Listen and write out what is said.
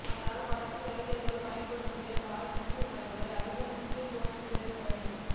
அதனால் படத்தில் நடிகர்கள் பயன்படுத்திய காஸ்ட்யூம்களும் அதிக முக்கியத்துவம் பெறுகின்றன